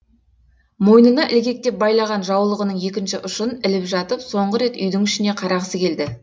мойнына ілгектеп байлаған жаулығының екінші ұшын іліп жатып соңғы рет үйдің ішіне қарағысы келді